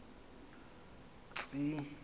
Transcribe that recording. tsi i i